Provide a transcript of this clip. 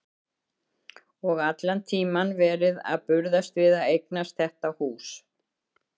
Og allan tímann verið að burðast við að eignast þetta hús.